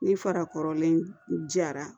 Ni fara kɔrɔlen jara